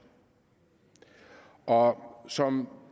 og som